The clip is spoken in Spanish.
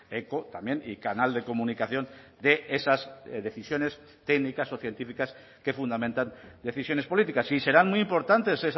eco también y canal de comunicación de esas decisiones técnicas o científicas que fundamentan decisiones políticas y serán muy importantes